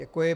Děkuji.